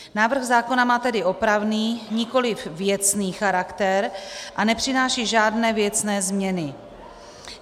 Návrh zákona má tedy opravný, nikoli věcný charakter a nepřináší žádné věcné změny.